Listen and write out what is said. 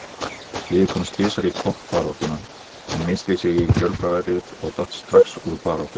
Liðið komst tvisvar í toppbaráttuna en missteig sig í kjölfarið og datt strax úr baráttunni.